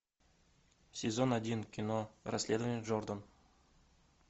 сезон один кино расследование джордан